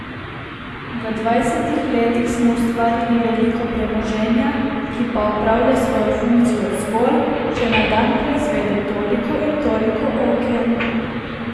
V dvajsetih letih smo ustvarili veliko premoženja, ki pa opravlja svojo funkcijo zgolj, če na dan proizvede toliko in toliko oken.